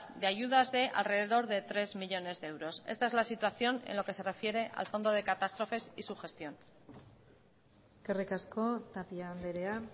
de ayudas de al rededor de tres millónes de euros esta es la situación en lo que se refiere al fondo de catástrofes y su gestión eskerrik asko tapia andrea